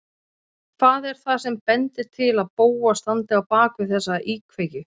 Hvað er það sem bendir til að Bóas standi á bak við þessar íkveikjur?